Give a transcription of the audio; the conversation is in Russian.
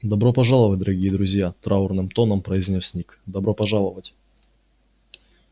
добро пожаловать дорогие друзья траурным тоном произнёс ник добро пожаловать